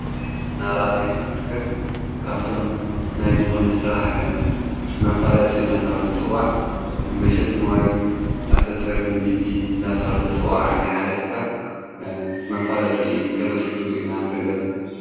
ናራናዮ ንርከብ ካብቶም ናይ ዝኾነ ሥራሕ መፋለጢ እናተዋለት ጽዋዕ መሸጥ መዋይልን ኣሰሰርን ጅጅ እናተዋለት ጽዋዕ ናይኃደትካል መፋለጢ ተለጢፉ ኢና ንርኢ ዘለና።